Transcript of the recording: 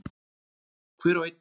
Hver og ein.